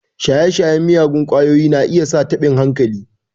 Shaye-shayen miyagun ƙwayoyi na iya sa taɓin hankali.